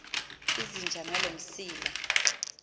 izinja ngaloo msila